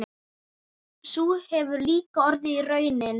Sú hefur líka orðið raunin.